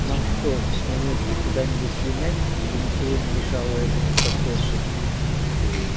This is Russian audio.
нам что с мамулькой куда-нибудь слинять чтобы ничего не мешало этому процессу